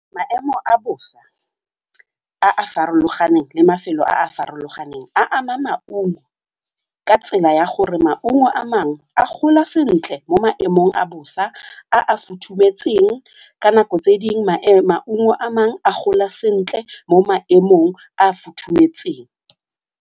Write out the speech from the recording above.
Maemo a bosa a a farologaneng le mafelo a a farologaneng a ama maungo ka tsela ya gore maungo a mangwe a gola sentle mo maemong a bosa a a futhumetseng ka nako tse dingwe maungo a mangwe a gola sentle mo maemong a a futhumetseng.